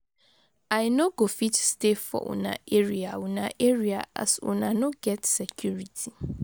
I no go fit stay for una area una area as una no get security.